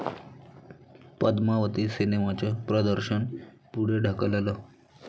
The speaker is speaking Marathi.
पद्मावती सिनेमाचं प्रदर्शन पुढे ढकललं